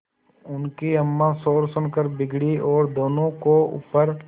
उनकी अम्मां शोर सुनकर बिगड़ी और दोनों को ऊपर